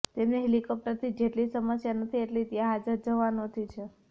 તેમને હેલિકોપ્ટરથી જેટલી સમસ્યા નથી એટલી ત્યાં હાજર જવાનોથી છે